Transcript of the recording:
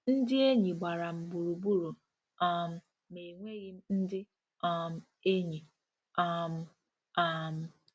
‘Ndị enyi gbara m gburugburu um ma enweghị m ndị um enyi. um ' um '